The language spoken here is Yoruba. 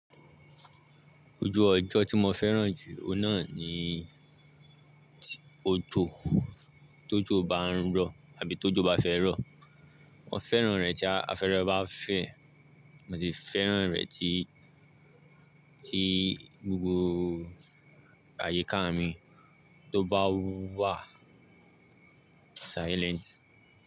Ojú ọjọ́ tí mo fẹ́ràn jù, ó náà ni òjò, tó jò bá ń rọ̀ àbí tó jò bá fẹ́ rọ̀. Mo fẹ́ràn rẹ̀ tí afẹ́rẹ̀ bá fẹ́, mo sì fẹ́ràn rẹ̀ tí, tí gbogbo àyíká mi tó bá wà silent.